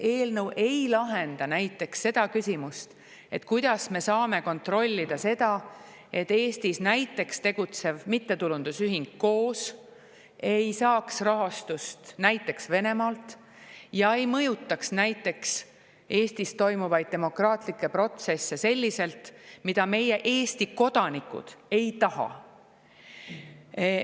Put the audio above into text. Näiteks ei lahenda see eelnõu küsimust, kuidas me saame kontrollida, et Eestis tegutsev mittetulundusühing KOOS ei saaks rahastust näiteks Venemaalt ja ei mõjutaks Eestis toimuvaid demokraatlikke protsesse selliselt, nagu meie, Eesti kodanikud, ei taha.